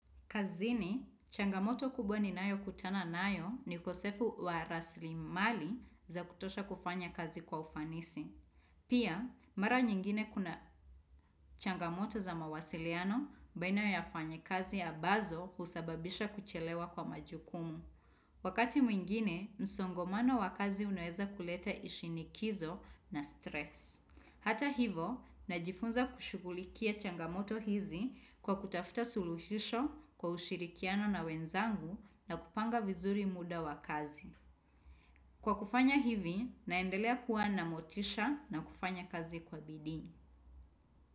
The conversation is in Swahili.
Kazini, changamoto kubwa ninayokutana nayo ni ukosefu wa raslimali za kutosha kufanya kazi kwa ufanisi. Pia, mara nyingine kuna changamoto za mawasiliano baina ya wafanya kazi ya bazo husababisha kuchelewa kwa majukumu. Wakati mwingine, msongomano wakazi unaeza kuleta ishinikizo na stress. Hata hivo, najifunza kushugulikia changamoto hizi kwa kutafuta suluhisho kwa ushirikiano na wenzangu na kupanga vizuri muda wa kazi. Kwa kufanya hivi, naendelea kuwa na motisha na kufanya kazi kwa bidini.